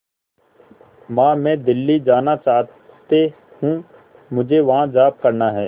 मां मैं दिल्ली जाना चाहते हूँ मुझे वहां जॉब करना है